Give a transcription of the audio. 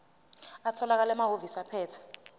atholakala emahhovisi abaphethe